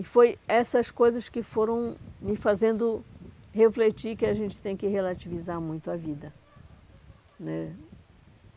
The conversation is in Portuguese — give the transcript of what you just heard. E foi essas coisas que foram me fazendo refletir que a gente tem que relativizar muito a vida né.